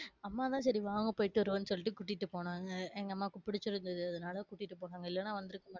அம்மா தான் சரி வாங்க போயிட்டு வருவோம்னு சொல்லிட்டு கூட்டிட்டு போனாங்க. எங்க அம்மாக்கு பிடிச்சிருந்ததுனால அதனால கூட்டி போன்னாங்க. இல்லைனா வந்து